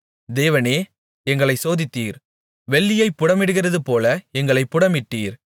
தேவனே எங்களைச் சோதித்தீர் வெள்ளியைப் புடமிடுகிறதுபோல எங்களைப் புடமிட்டீர்